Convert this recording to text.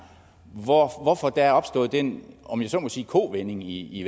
hvorfor hvorfor der er opstået den om jeg så må sige kovending i i